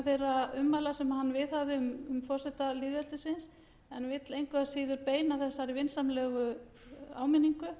þeirra ummæla sem hann viðhafði um forseta lýðveldisins en vill engu að síður beina þessari vinsamlegu áminningu